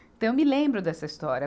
Então eu me lembro dessa história.